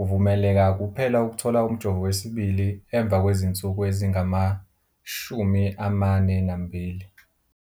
Uvumeleka kuphela ukuthola umjovo wesibili emva kwezinsuku ezingama-42.